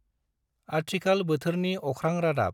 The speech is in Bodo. आथिखाल बोथोरनि अख्रां रादाब ।